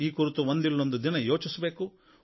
ಈ ಕುರಿತು ಒಂದಿಲ್ಲೊಂದು ದಿನ ಯೋಚಿಸಬೇಕು